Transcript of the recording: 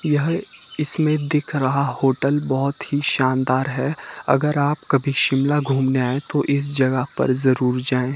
यह इसमें दिख रहा होटल बहोत ही शानदार है अगर आप कभी शिमला घूमने आए तो इस जगह पर जरूर जाएं।